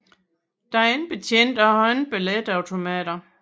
Den er ikke betjent og har ikke billetautomater